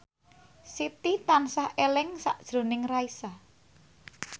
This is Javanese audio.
Siti tansah eling sakjroning Raisa